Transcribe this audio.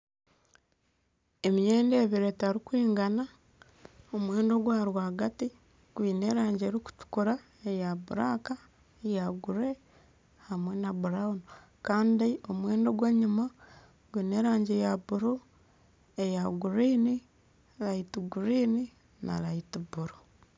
Emyenda ebiri etarikwingana, omwenda ogwa rwagti gwine erangi erikutukura eya buraka eya gure, hamwe na burawunu kandi omwenda ogw'enyima gwine erangi eya buru eya guriini, rayiti guriini na rayiti buru